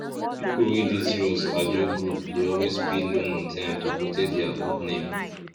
people wey dey serious ajo group dey always pay loan on time to protect their good name